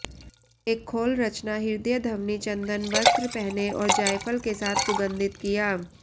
एक खोल रचना हृदय ध्वनि चंदन वस्त्र पहने और जायफल के साथ सुगंधित किया